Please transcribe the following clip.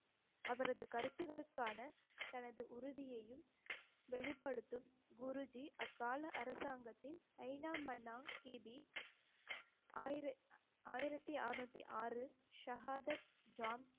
அவரது கருத்துக்களுக்கான தனது உறுதியையும் வெளிப்படுத்தும் குருஜி அக்கால அரசாங்கத்தின் கி. பி ஆயிர~ ஆயிரத்தி அறுநூத்தி ஆறு ஷகாதத்